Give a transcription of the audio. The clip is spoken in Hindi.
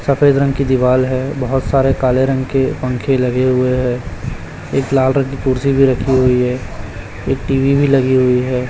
सफेद रंग की दीवाल है बोहोत सारे काले रंग के पंखे लगे हुए हैं एक लाल रंग की कुर्सी भी रखी हुई है एक टीवी भी लगी हुई है।